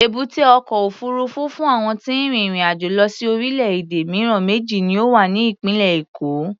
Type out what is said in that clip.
Èbúté ọkọ̀ òfuurufú fún àwọn tí ń rin ìrìn-àjò lọ sí orílẹ̀-èdè mìíràn méjì ni ó wà ní ìpínlẹ̀ Èkó.